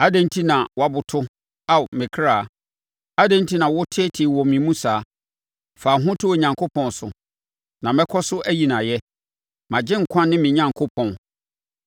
Adɛn enti na woaboto, Ao me kra? Adɛn enti na woteetee wɔ me mu saa? Fa wo ho to Onyankopɔn so, na mɛkɔ so ayi no ayɛ, mʼAgyenkwa ne me Onyankopɔn.